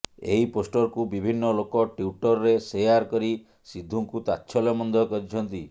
ଏହି ପୋଷ୍ଟରକୁ ବିଭିନ୍ନ ଲୋକ ଟ୍ୱିଟ୍ରେ ଶେୟାର କରି ସିଦ୍ଧୁଙ୍କୁ ତାଚ୍ଛଲ୍ୟ ମଧ୍ୟ କରିଛନ୍ତି